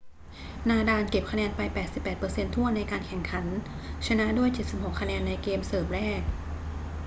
นาดาลเก็บคะแนนไป 88% ถ้วนในการแข่งขัน ชนะด้วย 76 คะแนนในเกมเสิร์ฟแรก